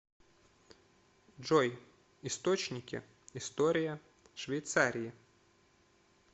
джой источники история швейцарии